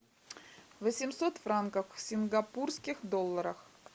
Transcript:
восемьсот франков в сингапурских долларах